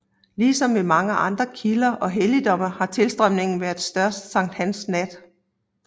Ligesom ved mange andre kilder og helligdomme har tilstrømningen været størst sankthansnat